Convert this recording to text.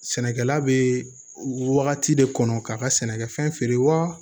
Sɛnɛkɛla bɛ wagati de kɔnɔ k'a ka sɛnɛkɛfɛn feere wa